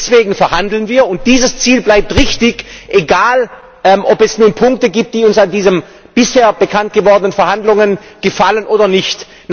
Deswegen verhandeln wir, und dieses Ziel bleibt richtig egal, ob es nun Punkte gibt, die uns an diesen bisher bekannt gewordenen Verhandlungen gefallen oder nicht.